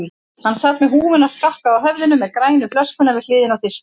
Hann sat með húfuna skakka á höfðinu með grænu flöskuna við hliðina á disknum.